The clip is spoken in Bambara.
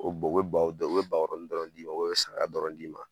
O bɛ o bɛ baw bakɔrɔni dɔrɔn d'i ma o bɛ saga dɔrɔn d'i ma